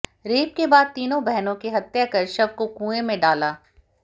rape के बाद तीनों बहनों की हत्या कर शव को कुएं में डाला